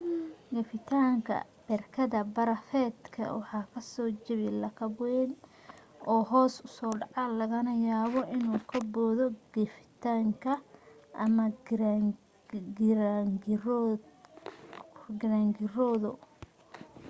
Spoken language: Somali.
geftinka berkad barafeedka waxa ka soo jabi lakab wayn oo hoos u soo dhaca lagana yaabaa inuu ka boodo geftinka ama giraangiroodo